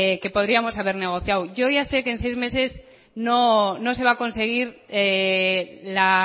que podríamos haber negociado yo ya sé que en seis meses no se va a conseguir la